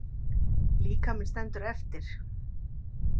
Líkaminn stendur eftir.